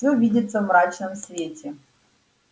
все видится в мрачном свете